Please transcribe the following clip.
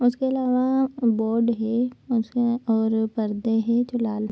और इसके आलवा बोर्ड है और परदे है जो लाल --